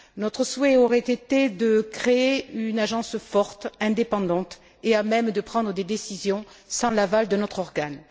notre souhait aurait été de créer une agence forte, indépendante, et à même de prendre des décisions sans l'aval de notre organe.